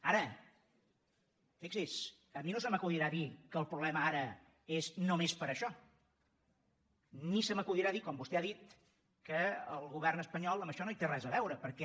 ara fixi’s a mi no se m’acudirà dir que el problema ara és només per això ni se m’acudirà dir com vostè ha dit que el govern espanyol amb això no hi té res a veure perquè